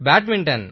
badminton